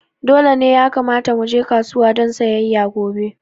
Dole ne ya kamata muje kasuwa don sayayya gobe